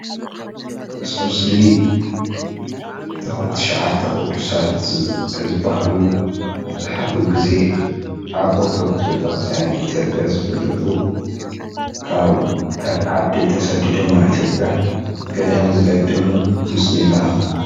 እዚ ምስሊ እቶም ትሸዓተ ቅዱሳት ዝብሃሉ መብዛሕትኡ ግዜ ኣብ ኦርቶዶክስ ቤተ ክርስትያን ኢ/ያ ዝፍለጡ ካብ ካሊእ ዓዲ ተሰዲዶም ናብ ኢ/ያ ገዳም ዝገደሙ ምስሊ የመላክት፡፡